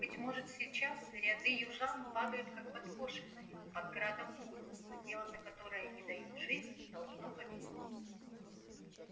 быть может сейчас ряды южан падают как подкошенные под градом пуль но дело за которое они дают жизнь должно победить